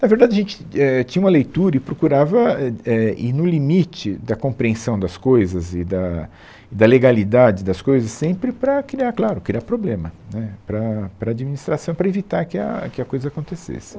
Na verdade, a gente, éh, tinha uma leitura e procurava, é é, ir no limite da compreensão das coisas e da da legalidade das coisas sempre para criar, claro, criar problema né para para a administração, para evitar que a que a coisa acontecesse.